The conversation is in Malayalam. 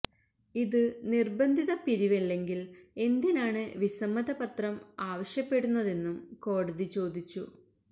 ഇത് നിര്ബന്ധിത പിരിവല്ലെങ്കില് എന്തിനാണ് വിസമ്മത പത്രം ആവശ്യപ്പെടുന്നതെന്നും കോടതി ചോദിച്ചു